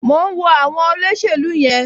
Mò ń wo àwọn olóṣèlú yẹn